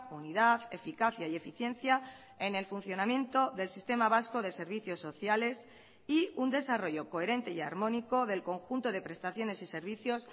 unidad eficacia y eficiencia en el funcionamiento del sistema vasco de servicios sociales y un desarrollo coherente y armónico del conjunto de prestaciones y servicios